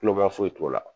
foyi t'o la